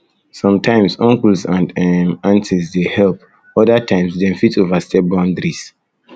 sometimes uncles and um aunties dey um help um other times dem fit overstep boundaries boundaries